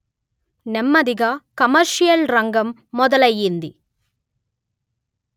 నెమ్మదిగా కమర్షియల్ రంగం మొదలయింది